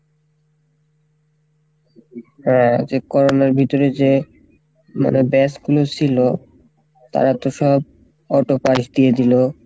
হ্যাঁ যে Corona এর ভিতরে যে মানে batch গুলো সিলো তারা তো সব auto pass দিয়ে দিলো,